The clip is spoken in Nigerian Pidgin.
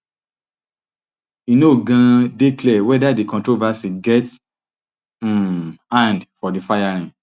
e no um dey clear weda di controversy get um hand for di firing